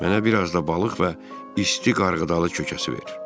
Mənə bir az da balıq və isti qarğıdalı kökəsi ver.